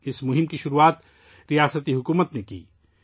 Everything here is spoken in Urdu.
یہ مہم ریاستی حکومت نے شروع کی تھی